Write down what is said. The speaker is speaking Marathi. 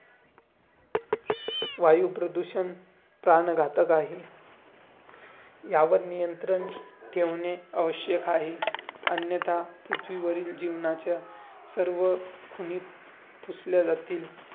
तो कचरा स्वतःसोबत घेऊन या जो जातोय करतोय